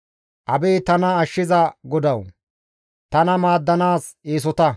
Abeet tana ashshiza Godawu! Tana maaddanaas eesota.